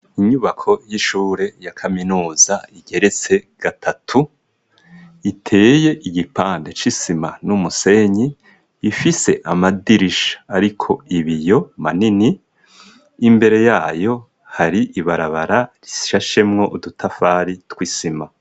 Inyubako y'ishure ya kaminuza igeretse gatatu iteye igipande c'isima n'umusenyi ifise amadirisha ariko ibiyo manini imbere yayo hari ibarabara rishashemwo udutafari tw'isima.